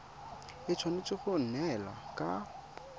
e tshwanetse go neelana ka